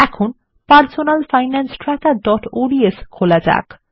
এখন personal finance trackerঅডস খোলা যাক